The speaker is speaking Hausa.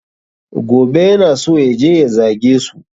Gobe yana so yaje ya zage su